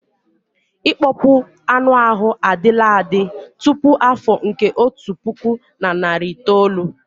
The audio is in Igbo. Ịkpọpu anụ ahụ adịla adị tupu afọ nke otu puku na nari itoolu.